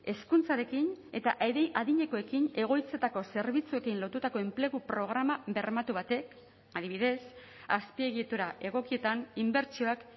hezkuntzarekin eta adinekoekin egoitzetako zerbitzuekin lotutako enplegu programa bermatu batek adibidez azpiegitura egokietan inbertsioak